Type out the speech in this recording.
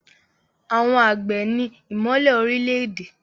Àwọn àgbẹ̀ ni ìmọ́lẹ̀ orílẹ̀-èdè.